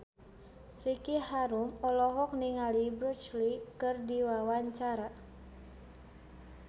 Ricky Harun olohok ningali Bruce Lee keur diwawancara